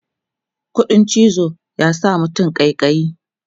ƙuɗin cizo ya sa mutane ƙaiƙayi